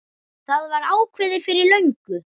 Það var ákveðið fyrir löngu.